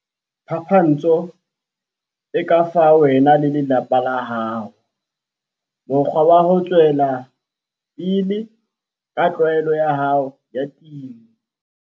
Phapantsho e ka fa wena le lelapa la hao mokgwa wa ho tswela pele ka tlwaelo ya hao ya temo.